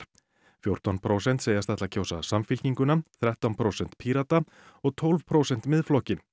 fjórtán prósent segjast ætla að kjósa Samfylkinguna þrettán prósent Pírata og tólf prósent Miðflokkinn